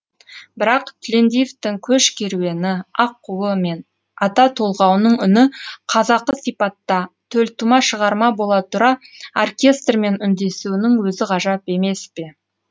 бірақ тілендиевтің көш керуені аққуы мен ата толғауының үні қазақы сипатта төлтума шығарма бола тұра оркестрмен үндесуінің өзі ғажап емес пе